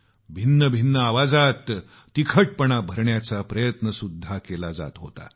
भिन्न भिन्न आवाजात तिखटपणा भरण्याचा प्रयत्नसुद्धा केला जात होता